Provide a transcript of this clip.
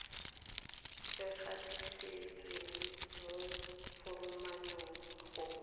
e gatisitsweng mo foromong go